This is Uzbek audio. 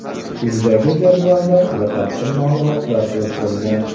Quyidagi jadvalda batafsil ma’lumotlar keltirilgan.